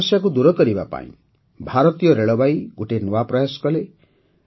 ଏହି ସମସ୍ୟାକୁ ଦୂର କରିବା ପାଇଁ ଭାରତୀୟ ରେଳବାଇ ଗୋଟିଏ ନୂଆ ପ୍ରୟାସ କଲା